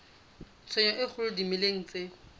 tshenyo e kgolo dimeleng tse